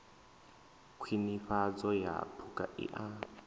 khwinifhadzo ya phukha i a